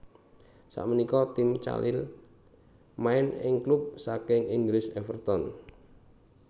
Sapunika Tim Cahill main ing klub saking Inggris Everton